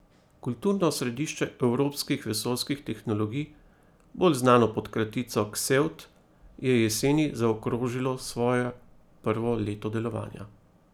Kulturno središče evropskih vesoljskih tehnologij, bolj znano pod kratico Ksevt, je jeseni zaokrožilo svoje prvo leto delovanja.